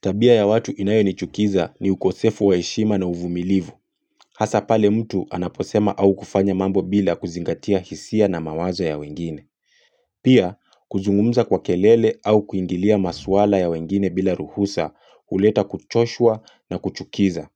Tabia ya watu inayonichukiza ni ukosefu wa heshima na uvumilivu. Hasa pale mtu anaposema au kufanya mambo bila kuzingatia hisia na mawazo ya wengine. Pia, kuzungumza kwa kelele au kuingilia maswala ya wengine bila ruhusa kuleta kuchoshua na kuchukiza.